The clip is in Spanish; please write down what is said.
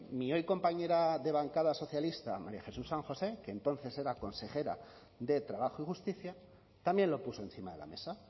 mi hoy compañera de bancada socialista maría jesús san josé que entonces era consejera de trabajo y justicia también lo puso encima de la mesa